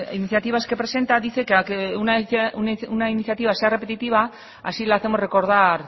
iniciativas que presenta dice que una iniciativa sea repetitiva así le hacemos recordar